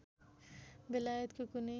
बेलायतको कुनै